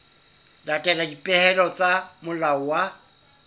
latela dipehelo tsa molao wa